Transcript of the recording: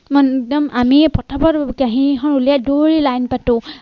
একদম আমিয়ে পতাপত কাঁহি এখন উলিয়াই দৌৰি লাইন পাতো।